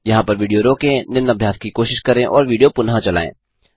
यहाँ पर विडियो रोकें निम्न अभ्यास करें और विडियो पुनः चलायें